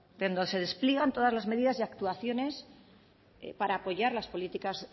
donde se despliegan todas las medidas y actuaciones para apoyar las políticas